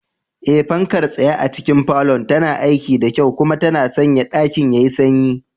Eh, fankar tsaye a cikin falon tana aiki da kyau kuma tana sanya ɗakin yayi sanyi.